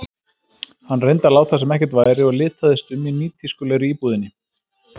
Hann reyndi að láta sem ekkert væri og litaðist um í nýtískulegri íbúðinni.